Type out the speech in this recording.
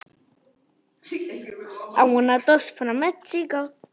Þá held ég áfram.